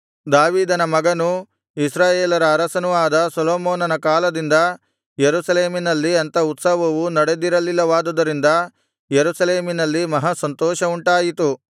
ದಾವೀದನ ಮಗನೂ ಇಸ್ರಾಯೇಲರ ಅರಸನೂ ಆದ ಸೊಲೊಮೋನನ ಕಾಲದಿಂದ ಯೆರೂಸಲೇಮಿನಲ್ಲಿ ಅಂಥ ಉತ್ಸವವು ನಡೆದಿರಲಿಲ್ಲವಾದುದರಿಂದ ಯೆರೂಸಲೇಮಿನಲ್ಲಿ ಮಹಾಸಂತೋಷವುಂಟಾಯಿತು